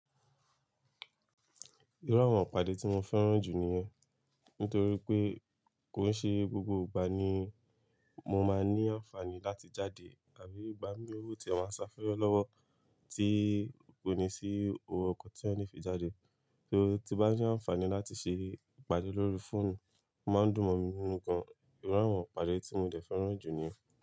Irú àwọn ìpàdé tí mo fẹ́ràn jù ni ẹ, nítorí pé kò ń ṣe gbogbo ìgbà ni mo máa ní àǹfààní láti jáde àbí ìgbà mí tí wu ti a máa ń sá fẹ́re lọ́wọ́ tí kò ní sí òwò ọkọ̀ tí èyàn lè fi jáde. Torí tí bá ní àǹfààní láti ṣe ìpàdé lórí fóònù, máa ń dùn mọ́ mi nínú kan. Irú àwọn ìpàdé tí mo dẹ̀ fẹ́ràn jù ni ẹ.